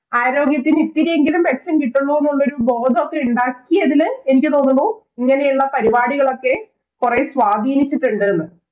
ആരോഗ്യത്തിനു ഇത്തിരിയെങ്കിലും മെച്ചം കിട്ടുന്നു എന്നുള്ളൊരു ബോധം ഉണ്ടാക്കിയതില്‍ എനിക്ക് തോന്നുന്നു ഇങ്ങനെയുള്ള പരിപാടികള്‍ ഒക്കെ കൊറേ സ്വധിനിച്ചിട്ടുണ്ട് എന്ന്.